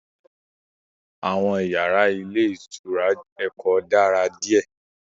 Àwọn iyàrá ilé ìtura Èkó dára díè